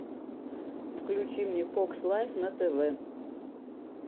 включи мне фокс лайф на тв